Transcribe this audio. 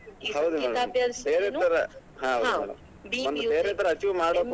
ಬೇರೇತರ achieve ಮಾಡೋಕ್,